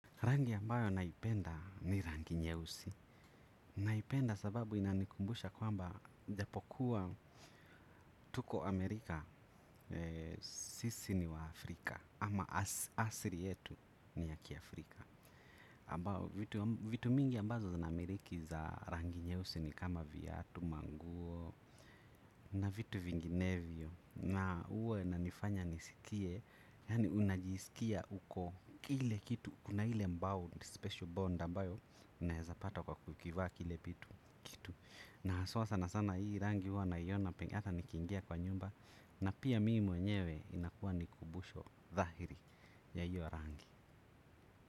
Rangi ambayo naipenda ni rangi nyeusi. Naipenda sababu inanikumbusha kwamba ijapokuwa tuko Amerika sisi ni waafrika. Ama asili yetu ni ya kiafrika. Ambao vitu mingi ambazo namiiki za rangi nyeusi ni kama viatu, manguo na vitu vinginevyo. Na huwa inanifanya nisikie. Yaani unajisikia uko kile kitu kuna ile bound special bond ambayo unaezapata kwa kukivaa kile kitu na haswa sana sana hii rangi huwa naiona hata nikiingia kwa nyumba na pia mimi mwenyewe inakuwa ni kumbusho dhahiri ya hiyo rangi.